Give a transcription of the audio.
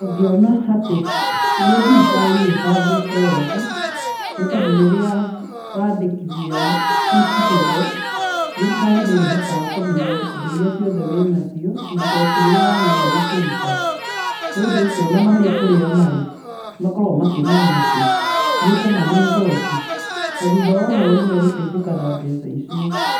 Ngĩona atĩ nĩ thirikari ĩbangĩte wega, nĩ tondũ rĩria wandĩkithia eCitizen, thirikari nĩrĩhotaga kũmenya indo iria ciothewĩ nacio na igoti rĩrĩa wagĩrĩirwo nĩ kũruta. Nĩ ũndũ ũcio ona marĩ kũrĩa marĩ, makoragwo makĩmenya atĩ nĩũkũmahe igoti, na thutha wa ũhoro nĩ megũteithĩka na mbeca icio.